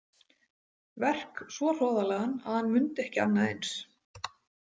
Verk svo hroðalegan að hann mundi ekki annað eins.